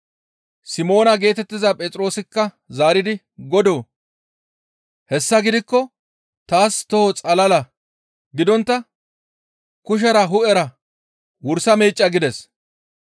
Simoona geetettiza Phexroosikka zaaridi, «Godoo, hessa gidikko taas toho xalala gidontta kushera hu7era wursa meecca» gides.